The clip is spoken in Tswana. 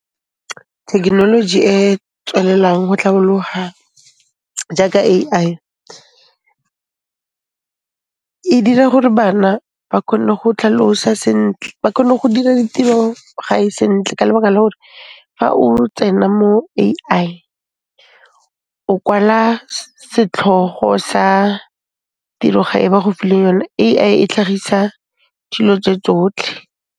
Thekenoloji e e tswelelang ho tlhabolloha jaaka A_I, e dira gore bana ba khone go tlhalosa sentle, ba khone go dira ditiro-gae sentle ka lebaka la gore fa o tsena mo A_I, o kwala setlhogo sa tiro ga e ba go file yone. A_I e tlhagisa dilo tso tsotlhe.